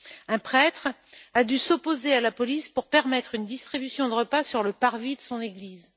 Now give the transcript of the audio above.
Un prêtre a dû s'opposer à la police pour permettre une distribution de repas sur le parvis de son église.